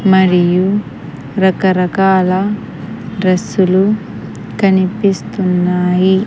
మరియు రకరకాల డ్రస్సులు కనిపిస్తున్నాయి.